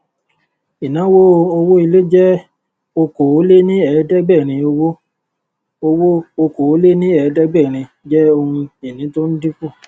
inawo owó ilé jẹ okòóléníẹẹdẹgbẹrin owó owó okòóléníẹẹdẹgbẹrin jẹ ohun ìní tó ń dinku